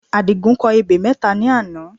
Àdìgún kọ ebè mẹ́ta ní àná